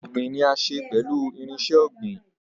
Farming is done with farming tools